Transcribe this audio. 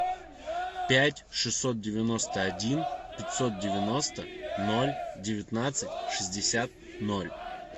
пять шестьсот девяносто один пятьсот девяносто ноль девятнадцать шестьдесят ноль